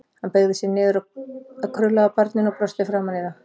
Hann beygði sig niður að krullaða barninu og brosti framan í það.